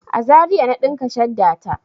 A Zaria na ɗinka shadda ta.